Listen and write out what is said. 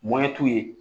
Mɔmɛtu ye